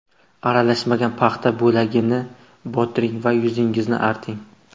Aralashmaga paxta bo‘lagini botiring va yuzingizni arting.